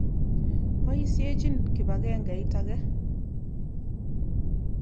Poisyechin kipakengeit ake.